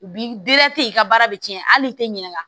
U bi i ka baara bɛ tiɲɛ hali i tɛ ɲina